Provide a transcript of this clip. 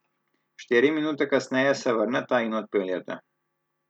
Štiri minute kasneje se vrneta in odpeljeta.